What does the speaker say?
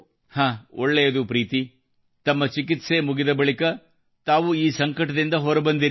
ಹಾಂ ಒಳ್ಳೆಯದು ಪ್ರೀತಿ ತಮ್ಮ ಹಂತಹಂತದ ಪ್ರಕ್ರಿಯೆ ಮುಗಿದ ಬಳಿಕ ತಾವು ಈ ಸಂಕಟದಿಂದ ಹೊರಬಂದಿರಿ